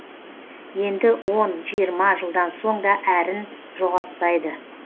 енді он жиырма жылдан соң да әрін жоғалтпайды